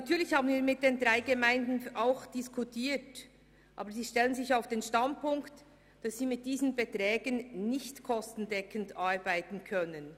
Natürlich haben wir das mit den drei Gemeinden auch diskutiert, aber sie stellen sich auf den Standpunkt, dass sie mit diesen Beträgen nicht kostendeckend arbeiten können.